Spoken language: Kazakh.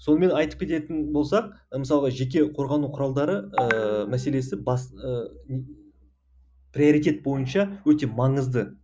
сонымен айтып кететін болсақ мысалға жеке қорғану құралдары ыыы мәселесі бас приоритет бойынша өте маңызды